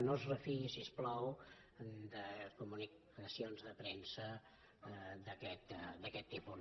no es refiï si us plau de comunicacions de premsa d’aquest tipus